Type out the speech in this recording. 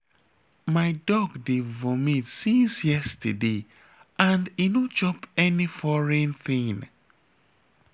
My dog dey vomit since yesterday and e no chop any foreign thing